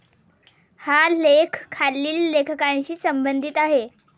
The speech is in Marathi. हा लेख खालील लेखकांशी संबंधीत आहे.